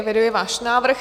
Eviduji váš návrh.